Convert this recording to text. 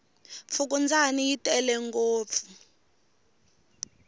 fukundzani yi tele ngopfu